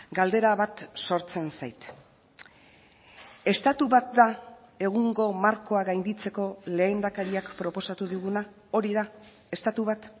galdera bat sortzen zait estatu bat da egungo markoa gainditzeko lehendakariak proposatu diguna hori da estatu bat